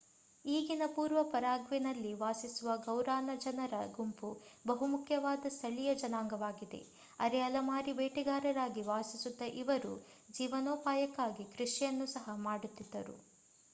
ಈಗಿನ ಪೂರ್ವ ಪರಾಗ್ವೆನಲ್ಲಿ ವಾಸಿಸುವ ಗೌರಾನಾ ಜನರ ಗುಂಪು ಬಹುಮುಖ್ಯವಾದ ಸ್ಥಳೀಯ ಜನಾಂಗವಾಗಿದೆ ಅರೆ ಅಲೆಮಾರಿ ಬೇಟೆಗಾರರಾಗಿ ವಾಸಿಸುತ್ತಿದ್ದ ಇವರು ಜೀವನೋಪಾಯಕ್ಕಾಗಿ ಕೃಷಿಯನ್ನು ಸಹ ಮಾಡುತ್ತಿದ್ದರು